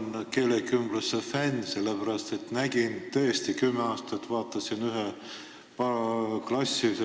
Ma olen keelekümbluse fänn, sellepärast et mul oli kümme aastat võimalik vaadata